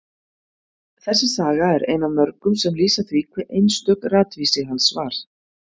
Þessi saga er ein af mörgum sem lýsa því hve einstök ratvísi hans var.